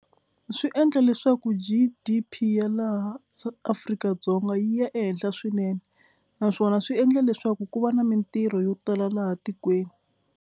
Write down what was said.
Swi endla leswaku G_D_P ya laha Afrika-Dzonga yi ya ehenhla swinene naswona swi endla leswaku ku va na mitirho yo tala laha tikweni.